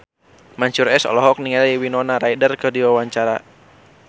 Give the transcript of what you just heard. Mansyur S olohok ningali Winona Ryder keur diwawancara